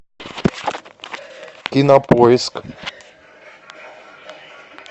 кинопоиск